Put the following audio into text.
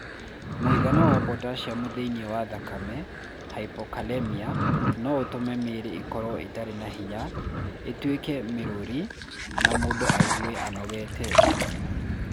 Mũigana wa potassium thĩinĩ wa thakame (hypokalemia) no ũtũme mĩĩrĩ ĩkorũo ĩtarĩ na hinya, ĩtuĩke mĩrũri, na mũndũ aigue anogete.